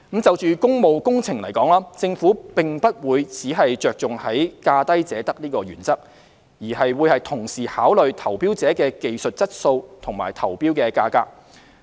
就工務工程而言，政府並不會只着重價低者得的原則，而會同時考慮投標者的技術質素及投標價格。